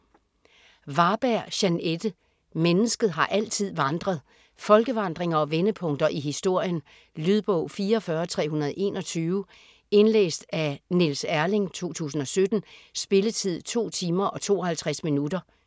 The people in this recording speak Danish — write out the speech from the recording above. Varberg, Jeanette: Mennesket har altid vandret Folkevandringer og vendepunkter i historien. Lydbog 44321 Indlæst af Niels Erling, 2017. Spilletid: 2 timer, 52 minutter.